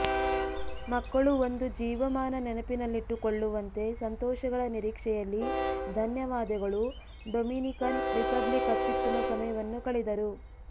ಮಕ್ಕಳು ಒಂದು ಜೀವಮಾನ ನೆನಪಿನಲ್ಲಿಟ್ಟುಕೊಳ್ಳುವಂತೆ ಸಂತೋಷಗಳ ನಿರೀಕ್ಷೆಯಲ್ಲಿ ಧನ್ಯವಾದಗಳು ಡೊಮಿನಿಕನ್ ರಿಪಬ್ಲಿಕ್ ಅತ್ಯುತ್ತಮ ಸಮಯವನ್ನು ಕಳೆದರು